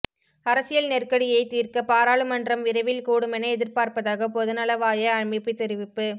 அரசியல் நெருக்கடியைத் தீர்க்க பாராளுமன்றம் விரைவில் கூடுமென எதிர்பார்ப்பதாக பொதுநலவாய அமைப்பு தெரிவிப்பு